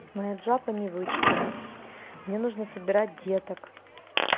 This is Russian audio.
маджапа не вычитано мне нужно собирать деток